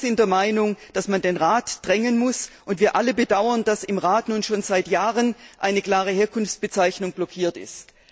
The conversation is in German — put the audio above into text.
Wir alle sind der Meinung, dass man den Rat drängen muss, und wir alle bedauern, dass im Rat nun schon seit Jahren eine klare Herkunftsbezeichnung blockiert ist.